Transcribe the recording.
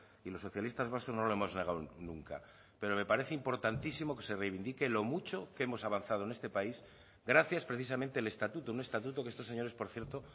y los socialistas vascos no lo hemos negado nunca pero me parece importantísimo que se reivindique lo mucho que hemos avanzado en este país gracias precisamente el estatuto un estatuto que estos señores por cierto